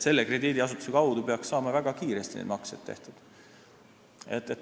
Selle krediidiasutuse kaudu peaks saama väga kiiresti maksed tehtud.